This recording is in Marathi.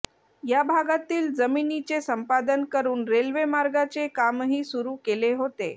या भागातील जमिनीचे संपादन करून रेल्वे मार्गाचे कामही सुरू केले होते